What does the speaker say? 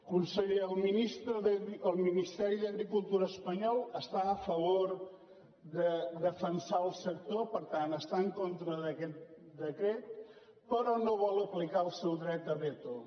conseller el ministeri d’agricultura espanyol està a favor de defensar el sector per tant està en contra d’aquest decret però no vol aplicar el seu dret a veto